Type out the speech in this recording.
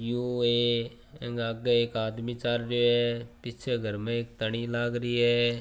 यो ऐ अंग आगे एक आदमी चाल रियो है पीछे घर में एक तनि लागरी है।